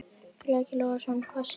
Breki Logason: Hvað segir þú?